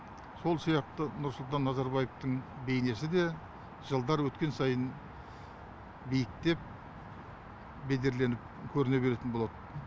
сол сияқты нұрсұлтан назарбаевтың бейнесі де жылдар өткен сайын биіктеп бедерленіп көріне беретін болады